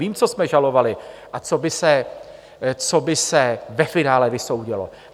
Vím, co jsme žalovali a co by se ve finále vysoudilo.